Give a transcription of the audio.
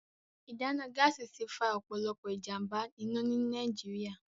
Ìdáná Gáàsì ti fa ọ̀pọ̀lọpọ̀ ìjàm̀bá-iná ní Nàìjíríà